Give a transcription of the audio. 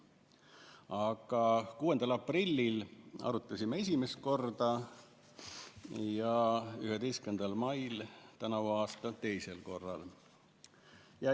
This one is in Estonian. Aga 6. aprillil arutasime esimest korda ja 11. mail tänavu aasta teisel korral.